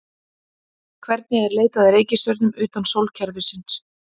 Hvernig er leitað að reikistjörnum utan sólkerfisins?